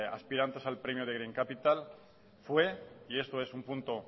aspirantes al premio de green capital fue y esto es un punto